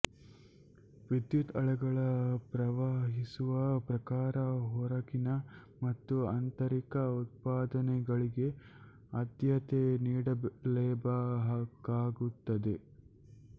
ವಿದ್ಯುತ್ ಅಲೆಗಳ ಪ್ರವಹಿಸುವ ಪ್ರಕಾರ ಹೊರಗಿನ ಮತ್ತು ಆಂತರಿಕ ಉತ್ಪಾದನೆಗಳಿಗೆ ಆದ್ಯತೆ ನೀಡಲೇಬೇಕಾಗುತ್ತದೆ